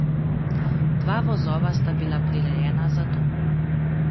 Dva vozova sta bila prirejena za to.